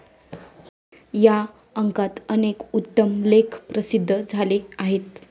या अंकात अनेक उत्तम लेख प्रसिद्ध झाले आहेत.